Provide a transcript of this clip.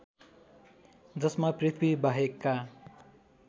जसमा पृथ्वी बाहेकका